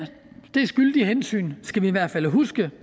det skyldige hensyn skal vi i hvert fald huske